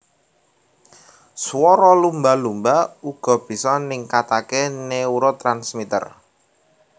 Swara lumba lumba uga bisa ningkatake neurotransmitter